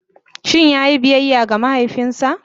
Shin ya yi biyayya ga mahaifinsa?